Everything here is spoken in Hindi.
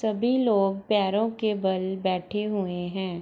सभी लोग पैरों के बल बैठे हुए हैं |